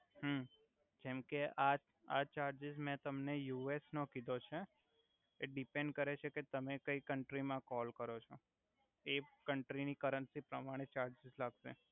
હુ જેમ કે આ ચાર્જિસ મે તમને યુએસ નો કીધો છે એ ડીપેન્ડ કરે છે કે તમે કઈ કંટ્રી મા કોલ કરો છો એ કંટ્રીની કરંસી પ્રમાણે ચાર્જિસ લાગસે.